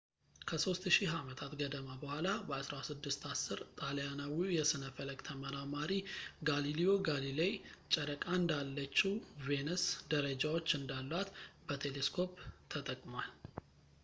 ከሦስት ሺህ ዓመታት ገደማ በኋላ በ 1610 ጣሊያናዊው የሥነ ፈለክ ተመራማሪ ጋሊልዮ ጋሊሌይ ጨረቃ እንዳለችው ቬነስ ደረጃዎች እንዳሏት በቴሌስኮፕ ተጠቅሟል